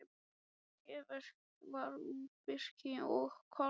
Tréverk var úr birki og hvalsrifjum.